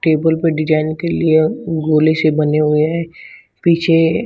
table पे design के लिए गोली से बने हुए हैं पीछे--